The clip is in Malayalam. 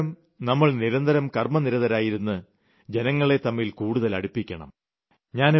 ഇപ്രകാരം നമ്മൾ നിരന്തരം കർമ്മനിരതരായിരുന്ന് ജനങ്ങളെ തമ്മിൽ കൂടുതൽ അടുപ്പിക്കണം